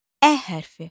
Ə hərfi.